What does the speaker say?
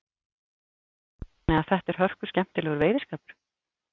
Kristján Már: Þannig að þetta er hörkuskemmtilegur veiðiskapur?